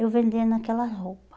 Eu vendendo aquela roupa.